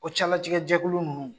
O cɛlatigɛ jɛkulu ninnu